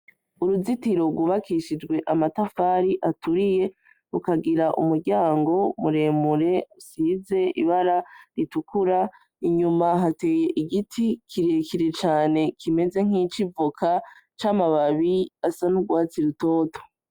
Uruzitiro rwubakishijwe amatafari aturiye, rukagira umuryango muremure usize ibara ritukura, inyuma hateye igiti kirekire cane kimeze nk'ic'ivoka, c'amababi asa n'urwatsi rutoto.